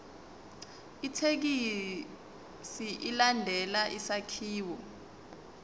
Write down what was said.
ithekisthi ilandele isakhiwo